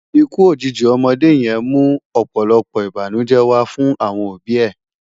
Ikú ójiji òmòdé yèn mú òpòlòpò ibánújè wá fun awòn óbi è